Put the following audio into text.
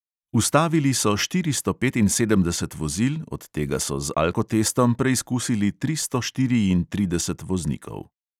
Ustavili so štiristo petinsedemdeset vozil, od tega so z alkotestom preizkusili tristo štiriintrideset voznikov.